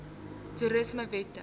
toerismewette